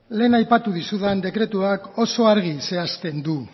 lehen aipatu dizudan dekretuak oso argi zehazten du